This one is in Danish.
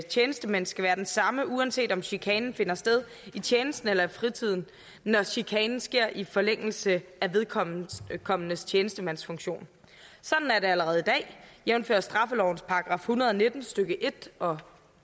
tjenestemænd skal være den samme uanset om chikanen finder sted i tjenesten eller i fritiden når chikanen sker i forlængelse af vedkommendes vedkommendes tjenestemandsfunktion sådan er det jo allerede i dag jævnfør straffelovens § en hundrede og nitten stykke en og